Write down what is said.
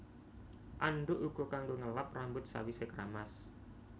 Andhuk uga kanggo ngelap rambut sawisé kramas